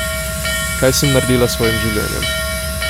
Kaj sem naredila s svojim življenjem?